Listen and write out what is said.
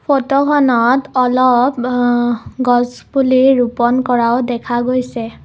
ফটোখনত অলপ অহ গছ পুলি ৰোপন কৰাও দেখা গৈছে।